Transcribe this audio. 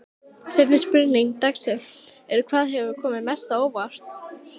Seinni spurning dagsins er: Hvað hefur komið mest á óvart?